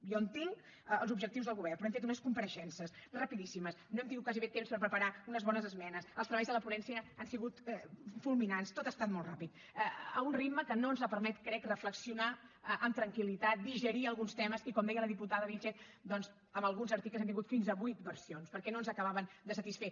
jo entenc els objectius del govern però hem fet unes compareixences rapidíssimes no hem tingut gairebé temps per preparar unes bones esmenes els treballs de la ponència han sigut fulminants tot ha estat molt ràpid a un ritme que no ens ha permès crec reflexionar amb tranquil·litat digerir alguns temes i com deia la diputada vílchez doncs en alguns articles hem tingut fins a vuit versions perquè no ens acabaven de satisfer